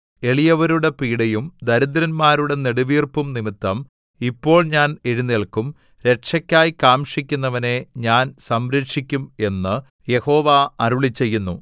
എളിയവരുടെ പീഡയും ദരിദ്രന്മാരുടെ നെടുവീർപ്പും നിമിത്തം ഇപ്പോൾ ഞാൻ എഴുന്നേല്ക്കും രക്ഷക്കായി കാംക്ഷിക്കുന്നവനെ ഞാൻ സംരക്ഷിക്കും എന്ന് യഹോവ അരുളിച്ചെയ്യുന്നു